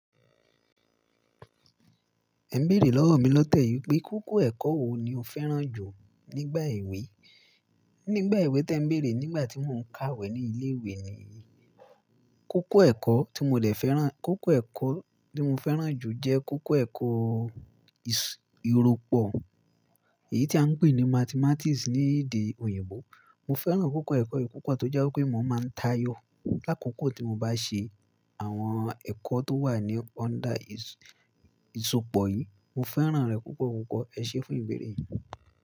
Ẹ ń bèèrè lọ́wọ́ mi lọ́tẹ̀yì pé kókó ẹ̀kọ́ wo ni o fẹ́ràn jù nígbà èwe. Nígbà èwe tí ẹ ń bèèrè nígbà tí mo ń kàwé ní ilé ìwé ni, kókó ẹ̀kọ́ tí mo dè fẹ́ràn, kókó ẹ̀kọ́ tí mo fẹ́ràn jù jẹ́ kókó ẹ̀kọ́ ìro pọ̀, èyí tí a ń pè ní Mathematics ní èdè òyìnbó. Mo fẹ́ràn kókó ẹ̀kọ́ yìí púpọ̀ toje wi pé mo máa ń táyò lákòókò tí mo bá ṣe àwọn ẹ̀kọ́ tó wà ní under ìsọpọ̀ yìí. Mo fẹ́ràn rẹ̀ púpọ̀ púpọ̀. Ẹ ṣé fún ìbèèrè yìí.